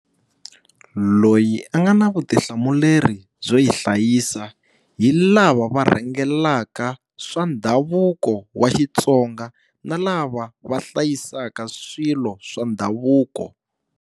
Loyi a nga na vutihlamuleri byo yi hlayisa hi lava va rhangelaka swa ndhavuko wa Xitsonga na lava va hlayisaka swilo swa ndhavuko.